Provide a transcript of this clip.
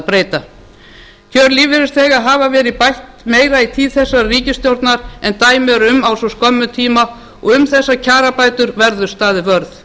breyta kjör lífeyrisþega hafa verið bætt meira í tíð þessarar ríkisstjórna en dæmi eru um á svo skömmum tíma og um þessar kjarabætur verður staðið vörð